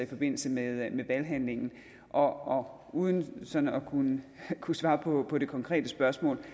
i forbindelse med valghandlingen og uden sådan at kunne kunne svare på på det konkrete spørgsmål